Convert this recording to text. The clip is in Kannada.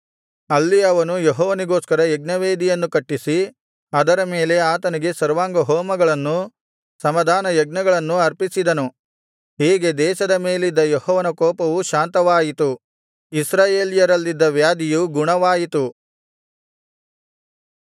ಅಲ್ಲಿ ಅವನು ಯೆಹೋವನಿಗೋಸ್ಕರ ಯಜ್ಞವೇದಿಯನ್ನು ಕಟ್ಟಿಸಿ ಅದರ ಮೇಲೆ ಆತನಿಗೆ ಸರ್ವಾಂಗಹೋಮಗಳನ್ನೂ ಸಮಾಧಾನಯಜ್ಞಗಳನ್ನೂ ಅರ್ಪಿಸಿದನು ಹೀಗೆ ದೇಶದ ಮೇಲಿದ್ದ ಯೆಹೋವನ ಕೋಪವು ಶಾಂತವಾಯಿತು ಇಸ್ರಾಯೇಲ್ಯರಲ್ಲಿದ್ದ ವ್ಯಾಧಿಯು ಗುಣವಾಯಿತು